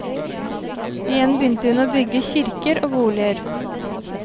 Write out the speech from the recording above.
Igjen begynte hun å bygge kirker og boliger.